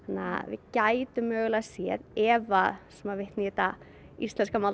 gætum mögulega séð ef svo maður vitni í þetta íslenska